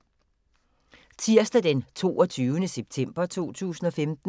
Tirsdag d. 22. september 2015